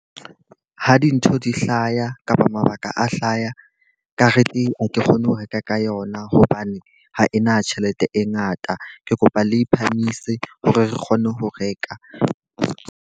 Ha dintho di hlaya kapa mabaka a hlaya, kareteng ha ke kgone ho reka ka yona hobane ha ena tjhelete e ngata. Ke kopa le phahamise hore re kgone ho reka.